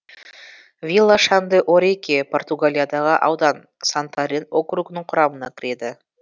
вила шан де орике португалиядағы аудан сантарен округінің құрамына кіреді